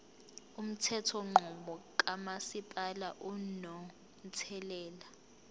umthethonqubo kamasipala unomthelela